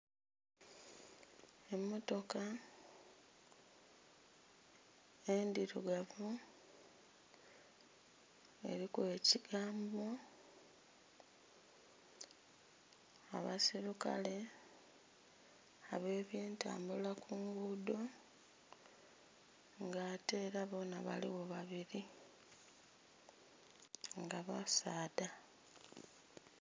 Emotoka endhirugavu eriku ekigambo, abeisulukale abe byentabula ku ngudho nga ate era bonha baligho babiri nga basaadha.